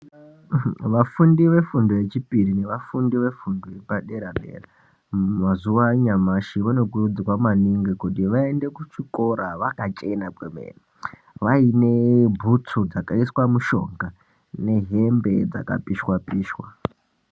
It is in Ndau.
Vafundi vefundo yechipiri nevafundi vefundo yepadera dera mazuva anyamashi vanokurudzirwa maningi kuti vaende kuchikora vakachena kwemene vaine bhutsu dzakaiswa mushonga nehembe dzakapishwa pishwa.